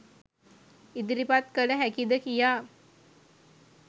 ඉදිරිපත් කළ හැකිද කියා.